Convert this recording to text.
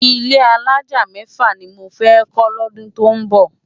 Ilé àlájá mèfá ni mó fè kó lódún tó nbó